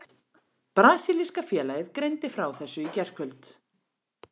Brasilíska félagið greindi frá þessu í gærkvöld.